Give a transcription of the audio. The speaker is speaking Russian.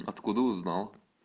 откуда узнал